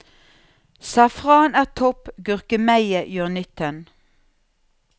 Safran er topp, gurkemeie gjør nytten.